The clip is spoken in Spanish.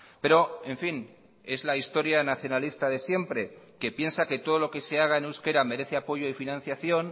pero en fin es la historia nacionalista de siempre que piensa que todo lo que se haga en euskera merece apoyo y financiación